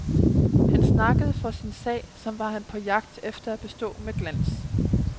Han snakkede for sin sag, som var han på jagt efter at bestå med glans.